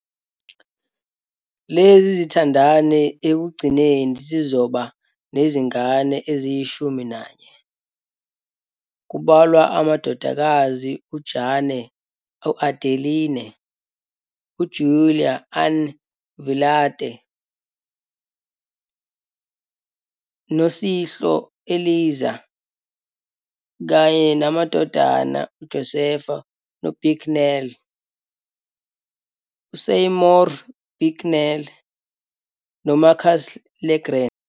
Lezi zithandani ekugcineni zizoba nezingane eziyishumi nanye, kubalwa amadodakazi uJane Adeline, uJulia Ann Vilate, noChloe Eliza, kanye namadodana uJoseph Bicknell, uSeymour Bicknell, noMarcus LeGrand.